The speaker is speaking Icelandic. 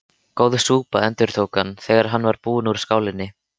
Góð súpa endurtók hann, þegar hann var búinn úr skálinni.